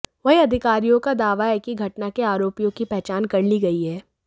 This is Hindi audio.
वहीं अधिकारियों का दावा है कि घटना के आरोपियों की पहचान कर ली गई है